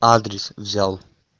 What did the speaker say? адрес взял